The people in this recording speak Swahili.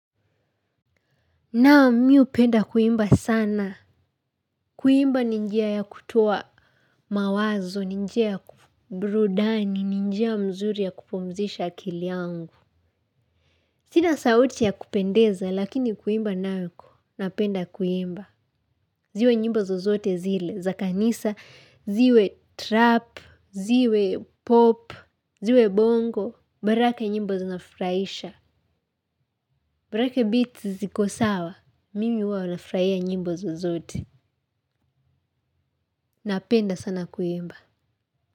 Naam mi hupenda kuimba sana. Kuimba ni njia ya kutoa mawazo, ni njia ya ku brudani, ni njia mzuri ya kupumzisha akili yangu. Sina sauti ya kupendeza, lakini kuimba nako, napenda kuimba. Ziwe nyimbo zozote zile, za kanisa, ziwe trap, ziwe pop, ziwe bongo, borake nyimbo zinafuraisha. Borake biti ziko sawa, mimi huwa nafurahia nyimbo zozote. Napenda sana kuimba.